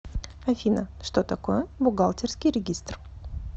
афина что такое бухгалтерский регистр